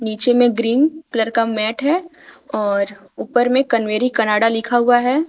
नीचे में green colour का मैट है और ऊपर में कावेरी कनाडा लिखा हुआ है।